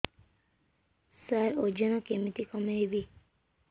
ସାର ଓଜନ କେମିତି କମେଇବି